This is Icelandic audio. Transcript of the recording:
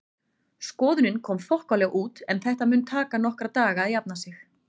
Skoðunin kom þokkalega út en þetta mun taka nokkra daga að jafna sig.